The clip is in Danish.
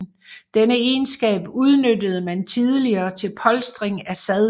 Denne egenskab udnyttede man tidligere til polstring af sadler